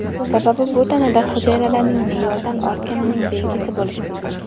Sababi bu tanada hujayralarning me’yoridan ortganining belgisi bo‘lishi mumkin.